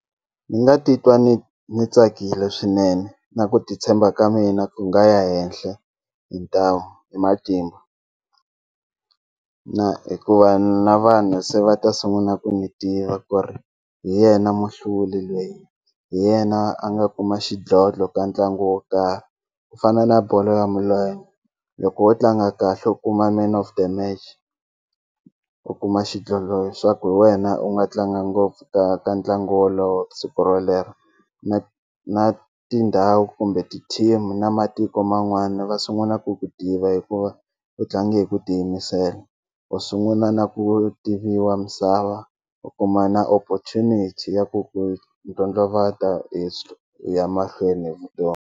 Ni nga titwa ni ni tsakile swinene na ku ti tshemba ka mina ku nga ya henhla hi ntamu hi matimba na hikuva na vanhu se va ta sungula ku ni tiva ku ri hi yena muhluli lweyi hi yena a nga kuma xidlodlo ka ntlangu wo karhi ku fana na bolo ya milenge loko wo tlanga kahle u kuma man of the match u kuma xidlodlo swa ku hi wena u nga tlanga ngopfu ka ka ntlangu wolowo siku rolero na na tindhawu kumbe ti-team na matiko man'wana va sungula ku ku tiva hikuva u tlange hi ku ti yimisela u sunguna na ku tiviwa misava u kuma na opportunity ya ku ku ndlondlovata hi ya mahlweni hi .